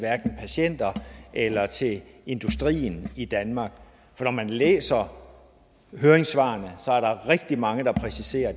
patienterne eller til industrien i danmark for når man læser høringssvarene er der rigtig mange der præciserer at